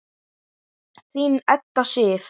Þín Edda Sif.